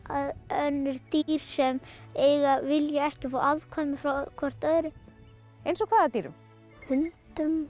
önnur dýr sem vilja ekki fá afkvæmi frá hvert öðru eins og hvaða dýrum hundum